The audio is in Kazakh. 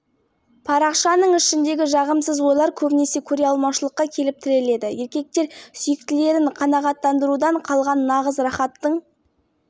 дәмін көрмеген ал әйелдер жыныстық құмарлықтарын сыртқа шығармайды өйткені үйінде сұрапыл диктатор отыр ол оған қолын